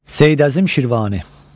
Seyid Əzim Şirvani.